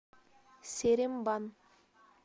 серембан